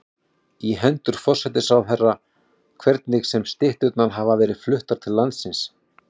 í hendur forsætisráðherra, hvernig sem stytturnar hafa verið fluttar til landsins.